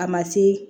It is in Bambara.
A ma se